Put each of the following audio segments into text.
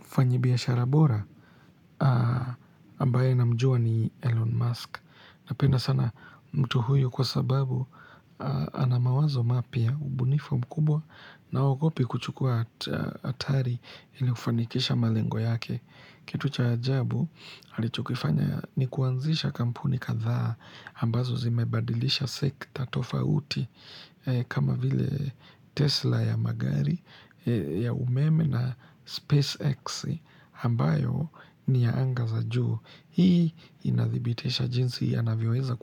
Mfanyibiashara bora ambaye namjua ni Elon Musk. Napenda sana mtu huyu kwa sababu ana mawazo mapya ubunifu mkubwa na haogopi kuchukua atari ili kufanikisha malengo yake. Kitu cha ajabu alichokifanya ni kuanzisha kampuni kadhaa ambazo zimebadilisha sekta tofauti kama vile Tesla ya magari ya umeme na SpaceX. Ambayo ni ya anga za juu hii inadhibitisha jinsi anavyoweza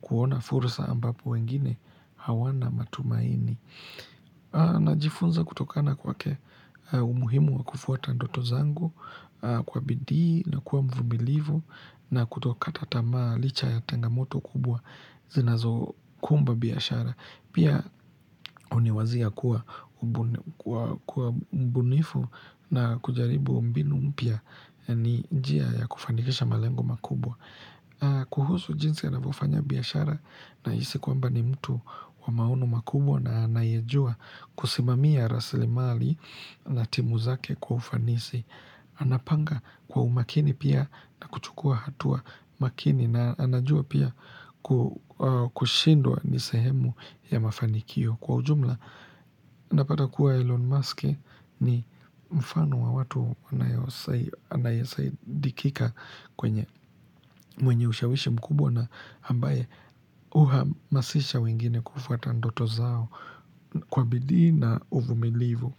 kuona fursa ambapo wengine hawana matumaini najifunza kutokana kwake umuhimu wa kufuata doto zangu kwa bidii na kuwa mvumilivu na kutokata tamaa licha ya tengamoto kubwa zinazokumba biashara pia uniwazia kuwa mbunifu na kujaribu mbinu mpya ni njia ya kufanikisha malengo makubwa kuhusu jinsi anavofanya biashara naisi kwamba ni mtu wa maono makubwa na anayejua kusimamia raslimali na timu zake kwa ufanisi Anapanga kwa umakini pia na kuchukua hatua makini na anajua pia kushindwa ni sehemu ya mafanikio Kwa ujumla napata kuwa Elon Musk ni mfano wa watu anayesaidikika kwenye mwenye ushawishi mkubwa na ambaye uhamasisha wengine kufuata ndoto zao kwa bidii na uvumilivu.